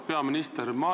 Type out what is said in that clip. Auväärt peaminister!